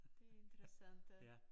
Det interessant